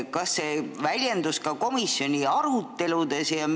Kas see väljendus kuidagi ka komisjoni aruteludes?